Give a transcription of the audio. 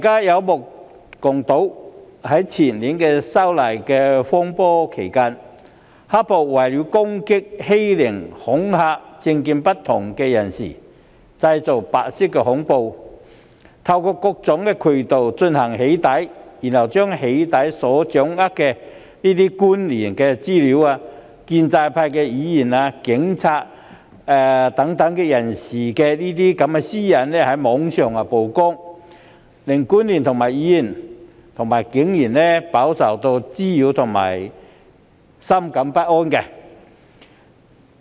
於前年發生修例風波期間，大家也曾目睹"黑暴"人士為了攻擊、欺凌及恐嚇不同政見人士，便製造白色恐怖，透過各種渠道對他們進行"起底"，然後把所掌握的官員、建制派議員和警務人員等人士的個人資料在網上披露，令這些私隱曝光的官員、議員和警務人員飽受滋擾及深感不安。